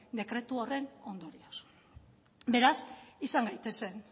dekretu horren ondorioz beraz izan gaitezen